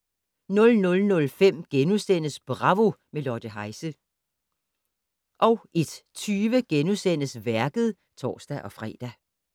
00:05: Bravo - med Lotte Heise * 01:20: Værket *(tor-fre)